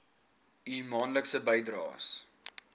u maandelikse bydraes